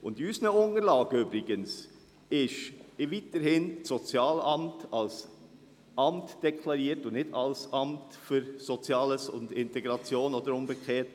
Übrigens: In unseren Unterlagen ist das Sozialamt weiterhin als Amt deklariert, und nicht als Amt für Soziales und Integration oder umgekehrt.